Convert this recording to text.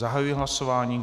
Zahajuji hlasování.